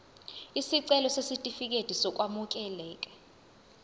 isicelo sesitifikedi sokwamukeleka